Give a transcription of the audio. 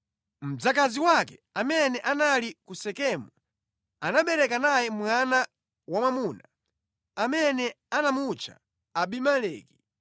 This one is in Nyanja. Mdzakazi wake amene anali ku Sekemu, anabereka naye mwana wamwamuna, amene anamutcha Abimeleki.